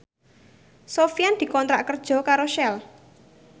Sofyan dikontrak kerja karo Shell